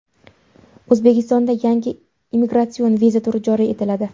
O‘zbekistonda yangi imigratsion viza turi joriy etiladi.